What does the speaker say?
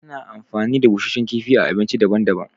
Ana amfani da busashen kifi a abinci daban daban